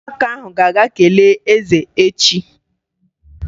Ụmụaka ahụ ga-aga kelee eze echi.